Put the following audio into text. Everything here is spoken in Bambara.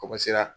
Kɔkɔsira